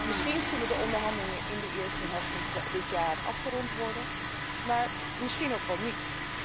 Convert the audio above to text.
Misschien kunnen de onderhandelingen in de eerste helft van dit jaar afgerond worden, maar misschien ook wel niet.